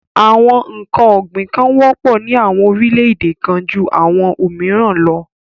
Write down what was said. Àwọn n̄ǹkan ọ̀gbìn kan wọ́pọ̀ ní àwọn orílẹ̀-èdè kan ju àwọn òmìrán lọ.